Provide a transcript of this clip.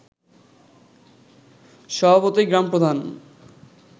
স্বভাবতই গ্রামপ্রধান